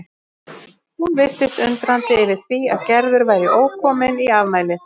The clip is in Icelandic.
Hún virtist undrandi yfir því að Gerður væri ókomin í afmælið.